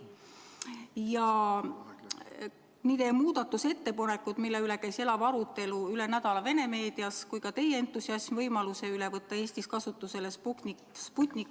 Ja nii teie muudatusettepanekud, mille üle käis elav arutelu Vene meedias üle nädala, kui ka teie entusiasm võimaluse suhtes võtta Eestis kasutusele Sputniku vaktsiin ...